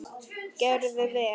Gerði vel.